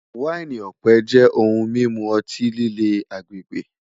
Waini ọpẹ jẹ ohun mimu ọti-lile agbegbe